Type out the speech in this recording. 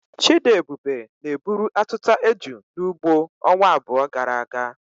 Chidiebube na-eburu atuta eju n'ugbo ọnwa abụọ gara aga.